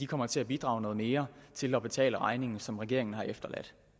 kommer til at bidrage noget mere til at betale regningen som regeringen har efterladt